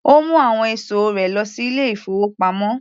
Ó mu àwọn ẹ̀sọ́ rẹ lọ sí ilé-ìfowópamọ́.